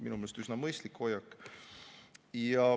Minu meelest üsna mõistlik hoiak.